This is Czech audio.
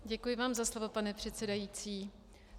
Děkuji vám za slovo, pane předsedající.